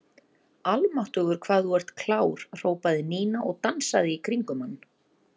Almáttugur hvað þú ert klár hrópaði Nína og dansaði í kringum hann.